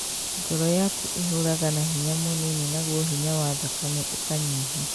Ngoro yaku ĩhũraga na hinya mũnini naguo hinya wa thakame ũkanyiha